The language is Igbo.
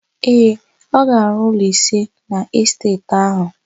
Ee, ga-arụ ụlọ ise n'esteeti áhụ̀.